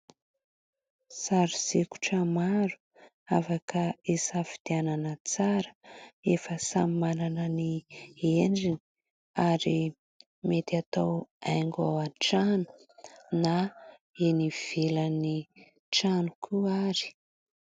Sary sikotra maro afaka hisafidianana tsara efa samy manana ny endriny ary mety atao haingo ao an-trano na eny ivelan'ny trano koa ary.